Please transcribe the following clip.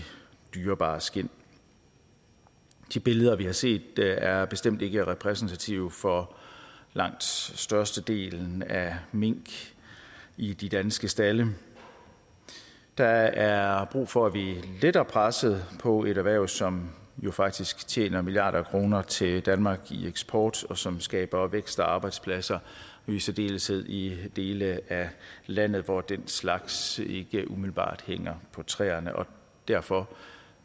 dyrebare skind de billeder vi har set er er bestemt ikke repræsentative for langt størstedelen af mink i de danske stalde der er brug for at vi letter presset på et erhverv som jo faktisk tjener milliarder af kroner til danmark i eksport og som skaber vækst og arbejdspladser i særdeleshed i dele af landet hvor den slags ikke umiddelbart hænger på træerne og derfor